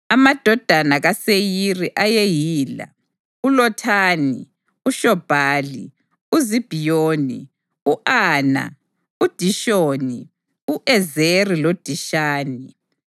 Amadodana kaSeyiri ayeyila: uLothani, uShobhali, uZibhiyoni, u-Ana, uDishoni, u-Ezeri loDishani.